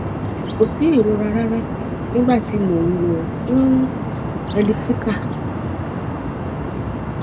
ko si irora rara nigba ti mo n lò um elliptical